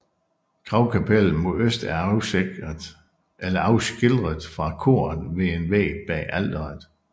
Gravkapellet mod øst er afskilret fra koret ved en væg bag alteret